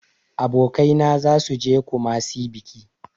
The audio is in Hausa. Abokaina zasu je e kumasi biki.